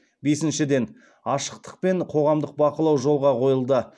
бесіншіден ашықтық пен қоғамдық бақылау жолға қойылды